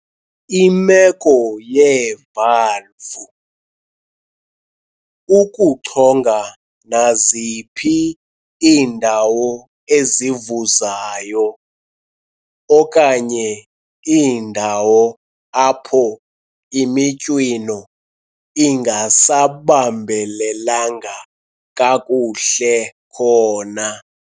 Imeko yeevalvu, ukuchonga naziphi iindawo ezivuzayo okanye iindawo apho imitywino ingasabambelelanga kakuhle khona.